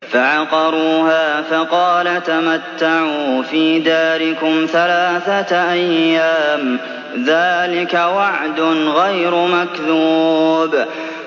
فَعَقَرُوهَا فَقَالَ تَمَتَّعُوا فِي دَارِكُمْ ثَلَاثَةَ أَيَّامٍ ۖ ذَٰلِكَ وَعْدٌ غَيْرُ مَكْذُوبٍ